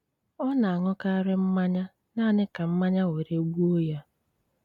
Ọ ná-aṅúkárí mmányá náaní ká mmányá wéré-gbúo yá.